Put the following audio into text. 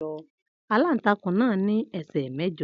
Aláǹtakùn náà ní ẹsẹ́ mẹ́jọ.